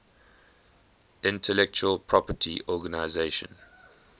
intellectual property organization